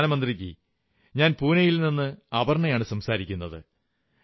പ്രധാനമന്ത്രീജീ ഞാൻ പൂനയിൽ നിന്ന് അപർണയാണു സംസാരിക്കുന്നത്